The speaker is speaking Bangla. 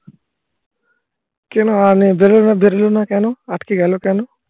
. কেন হয় নি? বেরোলো না, বেরোলো না কেন? আটকে গেলো কেন?